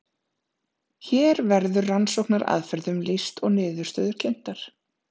Hér verður rannsóknaraðferðum lýst og niðurstöður kynntar.